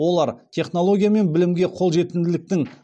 олар технология мен білімге қол жетімділіктің